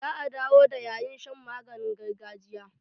Za a dawo da yayin shan maganin gargajiya.